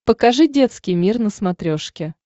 покажи детский мир на смотрешке